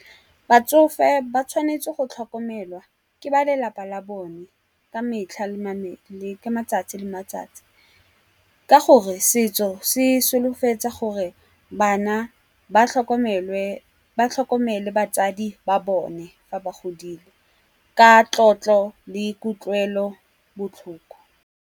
Batsofe ba tshwanetse go tlhokomelwa ke ba lelapa la bone ka metlha ka matsatsi le matsatsi. Ka gore setso se solofetsa gore bana ba tlhokomele batsadi ba bone fa ba godile, ka tlotlo le kutlwelo botlhoko.